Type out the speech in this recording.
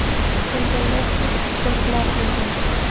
Kelganlar sud ijrochilari bo‘lgan.